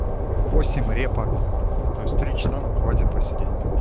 в восемь репа то есть три часа нам хватит посидеть